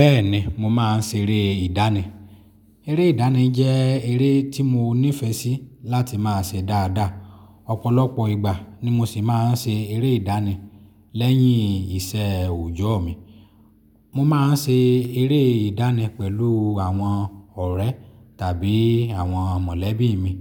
Bẹ́ẹ̀ni mo máa ń ṣeré ìdánì. Eré ìdánì jẹ́ eré tí mo nífẹ̀ẹ́ sí láti máa ṣe dáadáa. Ọ̀pọ̀lọpọ̀ ìgbà ni mo sì máa ń ṣe eré ìdánì lẹ́yìn ìṣẹ́ òjoọ́ mi. Mo máa ń ṣe eré ìdánì pẹ̀lú àwọn ọ̀rẹ́ tàbí àwọn mọ̀lẹ́bí mi.